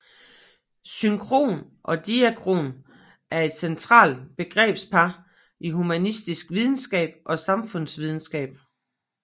Synkron og diakron er et central begrebspar i humanistisk videnskab og samfundsvidenskab